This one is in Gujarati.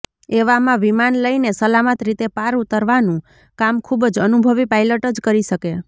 એવામાં વિમાન લઈને સલામત રીતે પાર ઊતરવાનું કામ ખૂબ જ અનુભવી પાયલટ જ કરી શકે